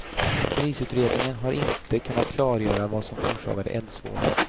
Polisutredningen har inte kunnat klargöra vad som orsakade eldsvådan.